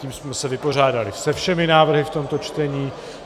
Tím jsme se vypořádali se všemi návrhy v tomto čtení.